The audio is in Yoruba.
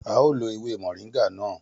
A ó lo ewé moringa náà